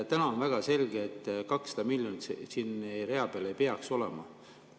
On väga selge, et 200 miljonit siin rea peal ei peaks olema.